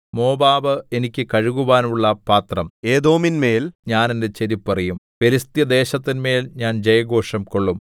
Moab എനിക്ക് കഴുകുവാനുള്ള പാത്രം ഏദോമിന്മേൽ ഞാൻ എന്റെ ചെരിപ്പ് എറിയും ഫെലിസ്ത്യദേശത്തിന്മേൽ ഞാൻ ജയഘോഷംകൊള്ളും